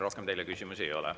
Rohkem teile küsimusi ei ole.